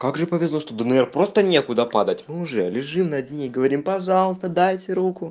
как же повезло что днр просто некуда падать мы уже лежим на дне говорим пожалуйста дайте руку